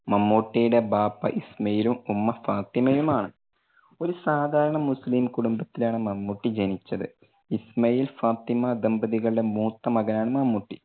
മമ്മൂട്ടിയുടെ ബാപ്പ ഇസ്മായിലും ഉമ്മ ഫാത്തിമയും ആണ്. ഒരു സാധാരണ മുസ്ലിം കുടുംബത്തിലാണ് മമ്മൂട്ടി ജനിച്ചത്. ഇസ്മായിൽ ഫാത്തിമ ദമ്പതികളുടെ മൂത്ത മകനാണ് മമ്മൂട്ടി.